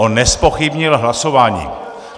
On nezpochybnil hlasování.